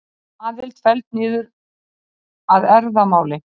Aðild felld niður að erfðamáli